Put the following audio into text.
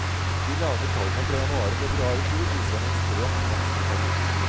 De lave tallene fra januar og februar i fjor viser en ekstremt vanskelig periode.